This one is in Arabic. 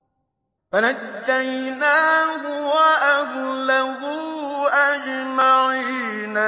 فَنَجَّيْنَاهُ وَأَهْلَهُ أَجْمَعِينَ